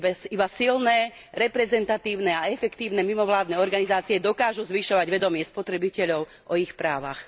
Iba silné, reprezentatívne a efektívne mimovládne organizácie dokážu zvyšovať vedomie spotrebiteľov o ich právach.